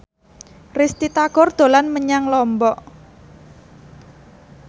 Risty Tagor dolan menyang Lombok